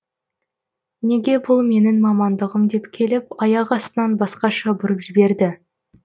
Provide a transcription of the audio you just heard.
неге бұл менің мамандығым деп келіп аяқ астынан басқаша бұрып жіберді